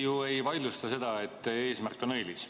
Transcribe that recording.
Keegi ju ei vaidlusta seda, et eesmärk on õilis.